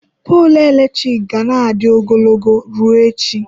Poolụ eletrik ga na-adị ogologo ruo echi.